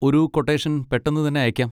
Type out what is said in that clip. ഒരു ക്വട്ടേഷൻ പെട്ടെന്നു തന്നെ അയക്കാം.